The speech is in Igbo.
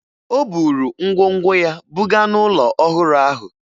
O buru ngwongwo ya buga n'ụlọ ọhụrụ ahụ